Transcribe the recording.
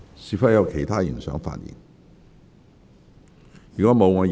是否有其他議員想發言？